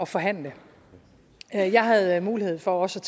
forhandle jeg havde mulighed for også